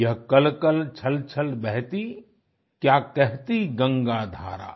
यह कलकल छलछल बहती क्या कहती गंगा धारा